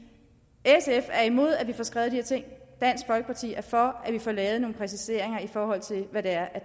sf er imod at vi får skrevet de her ting dansk folkeparti er for at vi får lavet nogle præciseringer i forhold til hvad det er